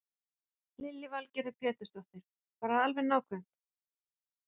Lillý Valgerður Pétursdóttir: Bara alveg nákvæmt?